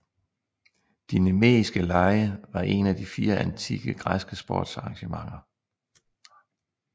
De Nemeiske Lege var en af de fire antikke græske sportsarrangementer